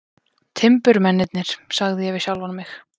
Timburmennirnir, sagði ég við sjálfan mig.